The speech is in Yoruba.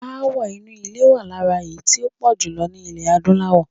Aáwọ̀ inú ilé wà lára èyí tí ó pọ̀ jùlọ ní ilẹ̀ Adúláwọ̀.